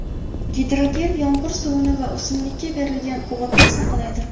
Gidrogel yomg‘ir suvini va o‘simlikka berilgan o‘g‘itni saqlaydi.